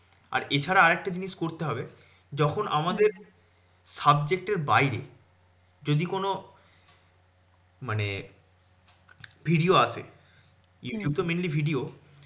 আর এছাড়া আরেকটা জিনিস করতে হবে, যখন আমাদের subject এর বাইরে যদি কোনো মানে video আসে Youtube তো mainly video.